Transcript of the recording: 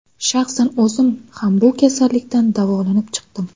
Shaxsan o‘zim ham bu kasallikdan davolanib chiqdim.